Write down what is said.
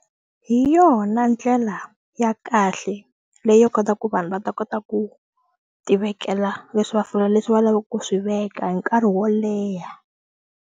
Hi yona ndlela ya kahle leyi yi kotaka ku vanhu va ta kota ku tivekela leswi va leswi va lavaka ku swi veka hi nkarhi wo leha.